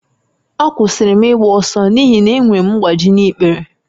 Akwụsịrị m ịgba ọsọ n'ihi na enwere m mgbaji n'ikpere